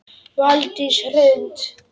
Valdís Hrund.